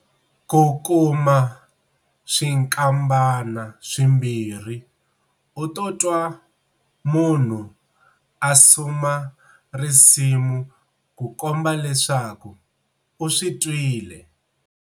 Ku kuma swinkambana swimbirhi u to twa munhu a suma risimu ku komba leswaku u swi twile.